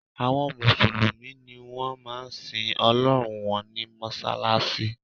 Àwọn mùsùlùmí ni wọ́n máa ń sin Ọlọ́run wọn ní mọ́ṣáláṣí